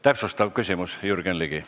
Täpsustav küsimus, Jürgen Ligi.